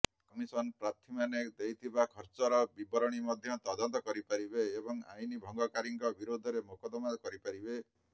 commission ପ୍ରାର୍ଥୀମାନେ ଦେଇଥିବା ଖର୍ଚ୍ଚର ବିବରଣୀ ମଧ୍ୟ ତଦନ୍ତ କରିପାରିବେ ଏବଂ ଆଇନ ଭଙ୍ଗକାରୀଙ୍କ ବିରୋଧରେ ମୋକଦ୍ଦମା କରିପାରିବେ